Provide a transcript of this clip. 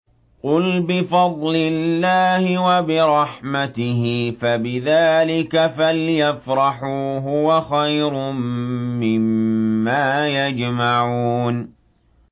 قُلْ بِفَضْلِ اللَّهِ وَبِرَحْمَتِهِ فَبِذَٰلِكَ فَلْيَفْرَحُوا هُوَ خَيْرٌ مِّمَّا يَجْمَعُونَ